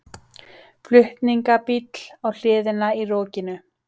Flutningabíll á hliðina í rokinu